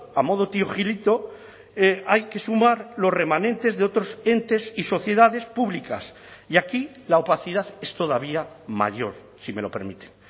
a modo tío gilito hay que sumar los remanentes de otros entes y sociedades públicas y aquí la opacidad es todavía mayor si me lo permite